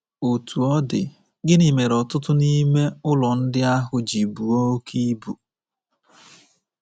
Otú ọ dị, gịnị mere ọtụtụ n’ime ụlọ ndị ahụ ji buo oke ibu?